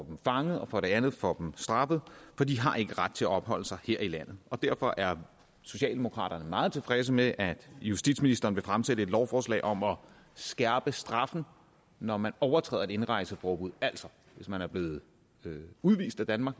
dem fanget og for det andet får dem straffet for de har ikke ret til at opholde sig her i landet derfor er socialdemokraterne meget tilfredse med at justitsministeren vil fremsætte et lovforslag om at skærpe straffen når man overtræder et indrejseforbud altså hvis man er blevet udvist af danmark